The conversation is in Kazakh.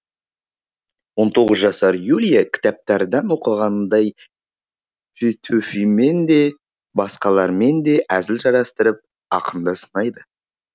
он тоғыз жасар юлия кітаптардан оқығанындай петөфимен де басқалармен де әзіл жарастырып ақынды сынайды